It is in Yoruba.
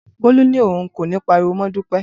Bolu ni oun ko ni pariwo mọ Dupe.